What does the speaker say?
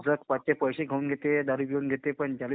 उलट पैसे खाऊन घेते, दारू पिऊन घेते पण ज्याला